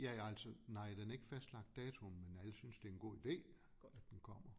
Ja ja altså nej den er ikke fastlagt datoen men alle synes det en god idé at den kommer